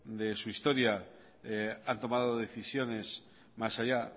de su historia han tomado decisiones más allá